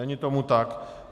Není tomu tak.